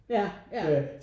Ja ja